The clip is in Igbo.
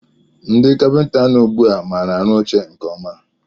Ndị kapinta nọ ugbu a maara arụ oche nke ọma